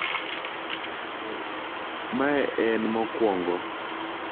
Mae en mokwongo